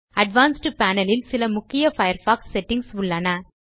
advanced panel இல் சில முக்கிய பயர்ஃபாக்ஸ் செட்டிங்ஸ் உள்ளன